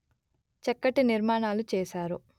చక్కటి నిర్మాణాలు చేసారు